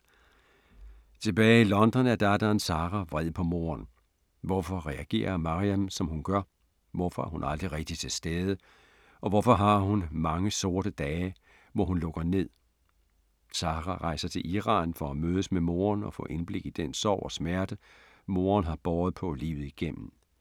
Tilbage i London er datteren Sara vred på moren. Hvorfor reagerer Maryam som hun gør, hvorfor er hun aldrig rigtigt til stede og hvorfor har hun mange sorte dage, hvor hun lukker ned? Sara rejser til Iran for at mødes med moren og får indblik i den sorg og smerte, moren har båret på livet igennem.